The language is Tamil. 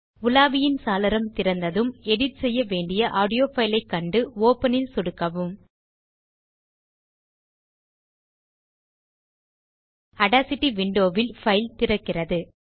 உலாவியின் சாளரம் திறந்ததும் எடிட் செய்ய வேண்டிய ஆடியோ பைல் ஐக் கண்டு ஒப்பன் ல் சொடுக்கவும் ஆடாசிட்டி விண்டோ வில் பைல் திறக்கிறது